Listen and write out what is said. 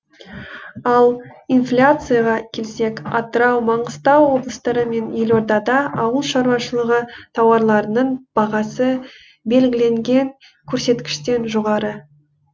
ал инфляцияға келсек атырау маңғыстау облыстары мен елордада ауыл шаруашылығы тауарларының бағасы белгіленген көрсеткіштен жоғары